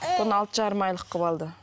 бұны алты жарым айлық қылып алды